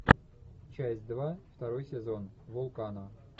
часть два второй сезон вулкана